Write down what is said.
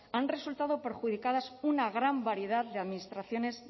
han resultado perjudicadas una gran variedad de administraciones